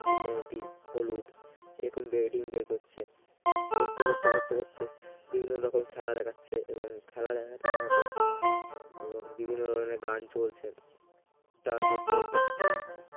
কোনটি হলুদ এরকম ring বের করছে করতে করতে করতে করতে বিভিন্ন রকম খেলা দেখাচ্ছে এবং খেলা দেখাতে দেখাতে বিভিন্ন ধরনের গান চলছে তারমধ্যে একটি